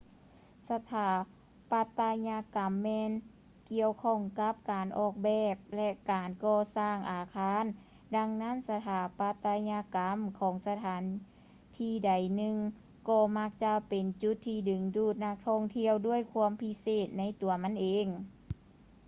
ສະຖາປັດຕະຍະກຳແມ່ນກ່ຽວຂ້ອງກັບການອອກແບບ ແລະ ການກໍ່ສ້າງອາຄານ ດັ່ງນັ້ນ ສະຖາປັດຕະຍະກຳຂອງສະຖານທີ່ໃດໜຶ່ງກໍມັກຈະເປັນຈຸດທີ່ດຶງດູດນັກທ່ອງທ່ຽວດ້ວຍຄວາມພິເສດໃນຕົວມັນເອງ